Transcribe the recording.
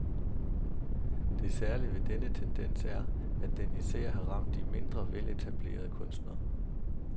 Det særlige ved denne tendens er, at den især har ramt de mindre veletablerede kunstnere.